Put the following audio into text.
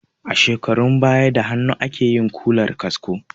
A shekarun baya da hannu akeyin Ƙumar kasko